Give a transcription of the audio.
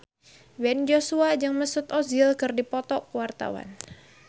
Ben Joshua jeung Mesut Ozil keur dipoto ku wartawan